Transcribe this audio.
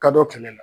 Kadɔ kɛmɛ la